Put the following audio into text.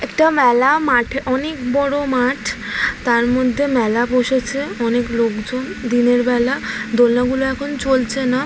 একটা মেলা মাঠ অনেক বড় মাঠ। তার মধ্যে মেলা বসেছে অনেক লোকজন। দিনের বেলা দোলনা গুলো এখন চলছে না।